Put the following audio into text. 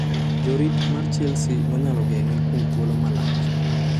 Jorit mar Chelsea nonyalo geng'e kuom thuolo malach.